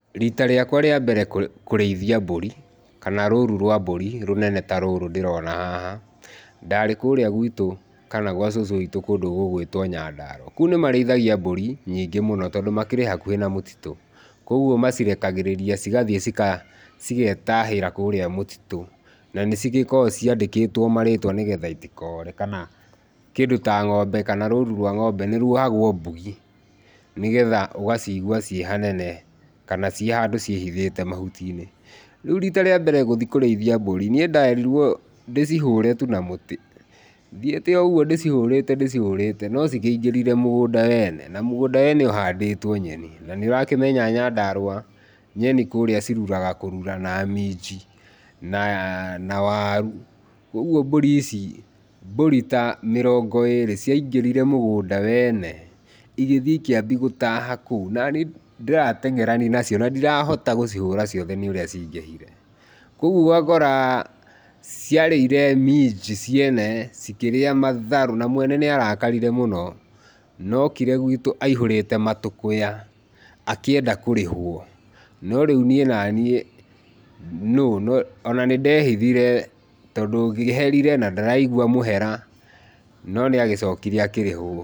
Rita rĩakwa rĩa mbere kũrĩithia mburi, kana rũrũ rwa mburi rũnene ta rũrũ ndĩrona haha , ndarĩ kurĩa gwitũ kana gwa cũcũ witũ kũndũ gũ gwĩtwo nyandarau kũu nĩ marĩithagia mburi nyingĩ toondũ makĩrĩ hakuhĩ na mũtitũ, kugwo macirekagĩrĩria cigathiĩ cika, ciketahĩra kũu mũtitũ, na nĩcikoragwo ciandĩkĩtwo marĩtwa nĩgetha itikore kana kĩndũ ta ngombe, kana rũrũ rwa ngombe nĩ rwohagwo mbugi, nĩgetha ũgacigua ci hanene, kana ci handũ cihithĩte mahuti-inĩ , rĩu rita rĩa mbere gũthiĩ kũrĩithia mburi niĩ nderirwo ndĩcihũre na mũtĩ, thĩite o ũgũo ndĩcihũrĩte ndĩcihũrĩte no cikĩingĩrire mũgũnda wena, na mũgũnda wena ũhandĩtwo nyeni na nĩ ũrakĩmenya nyandarua nyeni kũrĩa ciruraga kũrura na minji, na waru, kugwo mburi ici ta mĩrongo ta ĩrĩ ciangĩrire mũgũnda wene, igĩthiĩ ikĩambia gũtaha kũu na niĩ ndĩratengerania nacio na ndirahota kũhũrana nacio nĩ ũrĩa cingĩhire, kugwo ũgakora cia rĩire minji ciene na matharu, na mwene arakarire mũno, na okire gwitũ aihũrĩte matũkuya akĩenda kũrĩhwo, no rĩu niĩ naniĩ nũ na nĩ ndehithire tondũ ngĩherire na ndaraigwa mũhera, no nĩ acokire akĩrĩhwo.